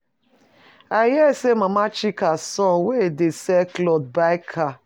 I hear say Mama Chika son wey e dey sell cloth buy car.